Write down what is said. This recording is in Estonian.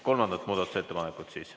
Kolmandat muudatusettepanekut?